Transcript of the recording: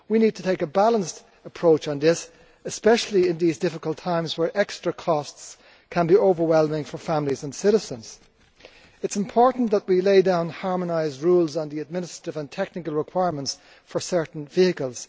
We need to take a balanced approach on this especially in these difficult times where extra costs can be overwhelming for families and citizens. It is important that we lay down harmonised rules on the administrative and technical requirements for certain vehicles.